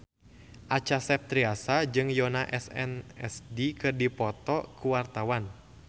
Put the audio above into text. Acha Septriasa jeung Yoona SNSD keur dipoto ku wartawan